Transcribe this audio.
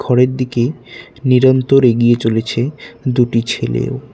ঘরের দিকে নিরন্তর এগিয়ে চলেছে দুটি ছেলেও।